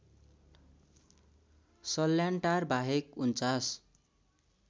सल्यानटार बाहेक ४९